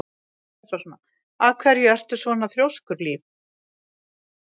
Af hverju ertu svona þrjóskur, Líf?